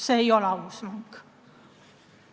See ei ole aus mäng.